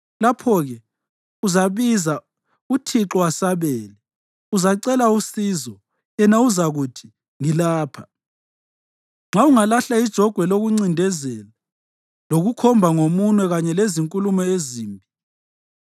Lapho-ke uzabiza, uThixo asabele; uzacela usizo, yena uzakuthi: Ngilapha. Nxa ungalahla ijogwe lokuncindezela lokukhomba ngomunwe kanye lezinkulumo ezimbi;